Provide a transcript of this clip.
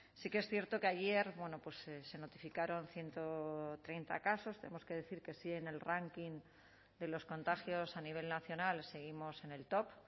sí que es cierto que ayer se notificaron ciento treinta casos tenemos que decir que sí en el ranking de los contagios a nivel nacional seguimos en el top